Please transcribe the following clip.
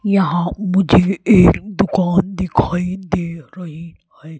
यहां मुझे एक दुकान दिखाई दे रही है।